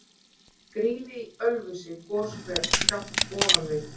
Grýla í Ölfusi, goshver skammt ofan við